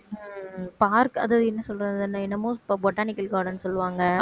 உம் park அது என்ன சொல்றது என்~ என்னமோ botanical garden சொல்லுவாங்க